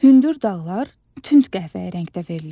Hündür dağlar tünd qəhvəyi rəngdə verilir.